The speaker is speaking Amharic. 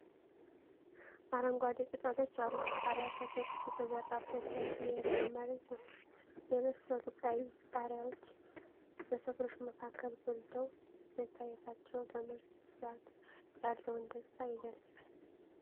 አረንጓዴ ቅጠሎች ያሉት ቃሪያ ተክል የተዘራበት ሰፊ የእርሻ መሬት ነው። የበሰሉ ቀይ ቃሪያዎች በተክሎች መካከል ጎልተው መታየታቸው ለምርት ብዛት ያለውን ደስታ ይገልጻል።